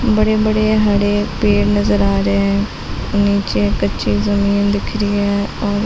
बड़े-बड़े हरे पेड़ नजर आ रहे है। नीचे कच्ची जमीन दिख रही है और--